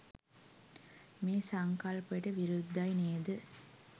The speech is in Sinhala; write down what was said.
මේ සංකල්පයට විරුද්ධයි නේද?